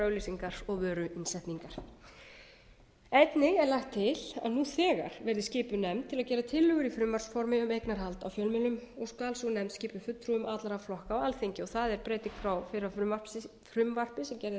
er lagt til að nú þegar verði skipuð nefnd til að gera tillögur í frumvarpsformi um eignarhald á og skal sú nefnd skipuð fulltrúa allra flokka á alþingi og það er breyting frá fyrra frumvarpi sem gerði ráð fyrir að